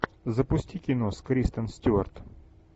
запусти кино с кристен стюарт